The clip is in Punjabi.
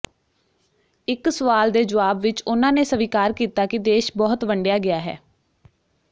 ਇਕ ਸਵਾਲ ਦੇ ਜਵਾਬ ਵਿਚ ਉਨ੍ਹਾਂ ਨੇ ਸਵੀਕਾਰ ਕੀਤਾ ਕਿ ਦੇਸ਼ ਬਹੁਤ ਵੰਡਿਆ ਗਿਆ ਹੈ